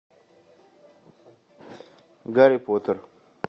гарри поттер